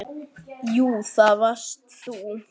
Jú, það varst þú.